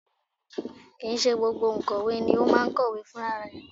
Kì í ṣe gbogbo òǹkọ̀wé ni ó máa ń kọ̀wé fún rarẹ̀